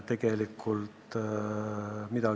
See ei puutu praegu asjasse.